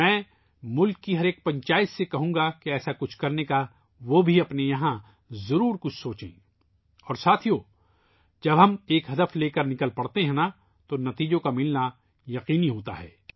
میں ملک کی ہر پنچایت سے کہوں گا کہ انہیں بھی یہاں کچھ ایسا کرنے کا سوچنا چاہیئے اور دوستو ، جب ہم ایک مقصد کے ساتھ نکلتے ہیں تو نتیجے کا ملنایقینی ہوتا ہے